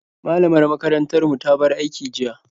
Malamar makarantar mu ta bar aiki jiya.